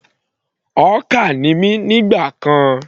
Hawker ni mí nígbà kan.